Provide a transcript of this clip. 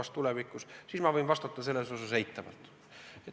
Sellele ma võin vastata eitavalt.